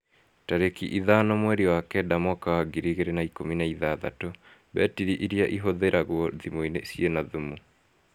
Tarĩki ithano mweri wa kenda mwaka wa ngiri igĩrĩ na ikũmi na ithathatũ, mbetiri irĩa ihũthĩragw0 thimũ-inĩ ciĩna thumu